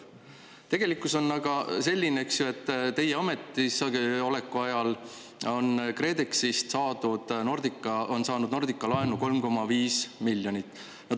" Tegelikkus on aga selline, eks ju, et teie ametisoleku ajal on Nordica saanud KredExist laenu 3,5 miljonit eurot.